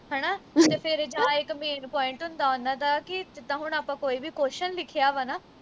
ਤੇ ਫਿਰ ਜਾਂ ਇਕ main point ਹੁੰਦਾ ਉਨ੍ਹਾਂ ਦਾ ਕਿ ਜਿੱਦਾ ਹੁਣ ਆਪਾ ਕੋਈ ਵੀ question ਲਿਖਿਆ ਵਾ ਨਾ